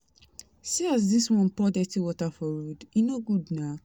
See as dis one pour dirty water for road, e no good na.